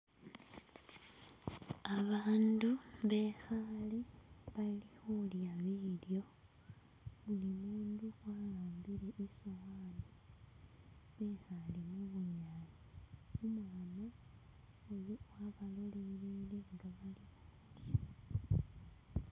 Abandu bekhale bali khulya bilyo buli mundu ahambile isowani ekhale mubunyaasi umwana iye wabalolelele inga balya.